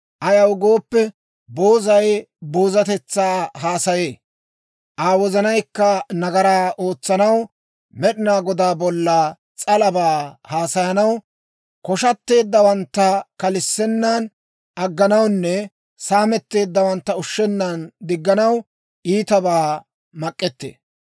Ayaw gooppe, boozay boozatetsaa haasaye; Aa wozanaykka nagaraa ootsanaw, Med'inaa Godaa bolla s'alabaa haasayanaw, koshshatteeddawantta kalissennan agganawunne saametteeddawantta ushshennan digganaw, iitabaa mak'ettee.